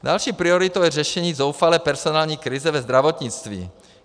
Další prioritou je řešení zoufalé personální krize ve zdravotnictví.